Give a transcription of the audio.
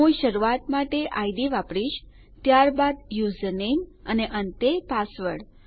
હું શરૂઆત માટે ઇડ વાપરીશ ત્યારબાદ યુઝર નામે અને અંતે પાસવર્ડ